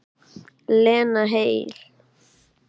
Lena heil.